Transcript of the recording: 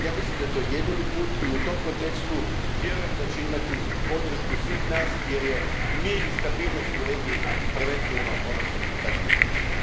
Ja mislim da je to jedini put i u tom kontekstu vjerujem da će imati podršku svih nas jer je mir i stabilnost u regiji prvenstveno ono što građane zanima.